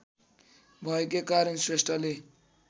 भएकै कारण श्रेष्ठले